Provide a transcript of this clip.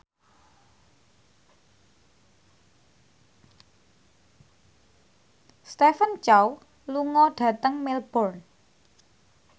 Stephen Chow lunga dhateng Melbourne